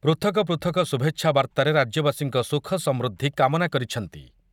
ପୃଥକ ପୃଥକ ଶୁଭେଚ୍ଛା ବାର୍ତ୍ତାରେ ରାଜ୍ୟବାସୀଙ୍କ ସୁଖ ସମୃଦ୍ଧି କାମନା କରିଛନ୍ତି ।